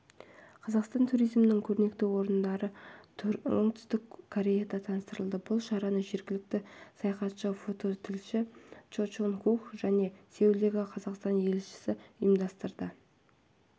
қазақстан туризмінің көрнекті орындары оңтүстік кореяда таныстырылды бұл шараны жергілікті саяхатшы фототілші чо чон хук және сеулдегі қазақстан елшілігі ұйымдастырды